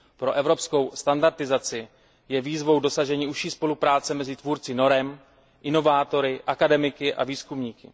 Pro evropskou standardizaci je výzvou dosažení užší spolupráce mezi tvůrci norem, inovátory, akademiky a výzkumníky.